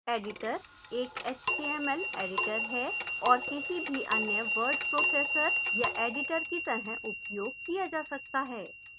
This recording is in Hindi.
editor एक html editor है और किसी भी any word processor या editor की तरह उपयोग किया जा सकता है